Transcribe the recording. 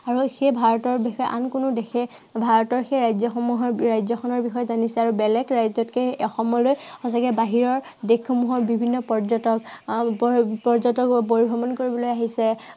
আৰু সেই ভাৰতৰ দেশে আন কোনো দেশে ভাৰতৰ ৰাজ্য়সমূহৰ, ৰাজ্য়খনৰ বিষয়ে জানিছে। বেলেগ ৰাজ্য়তকে অসমলে সঁচাকে বাহিৰৰ দেশ সমূহৰ বিভিন্ন পৰ্যটক আহ পৰ্যটকবোৰ পৰিভ্ৰমণ কৰিবলৈ আহিছে